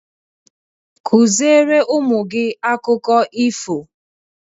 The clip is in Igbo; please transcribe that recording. Kụziere ụmụ gị akụkọ ifo!